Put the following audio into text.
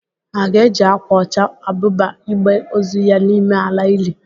Ha ga-eji akwa ọcha ebuba igbe ozu ya n'ime ala ili?